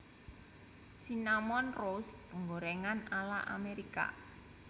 Cinnamon Roast penggorèngan ala Amerika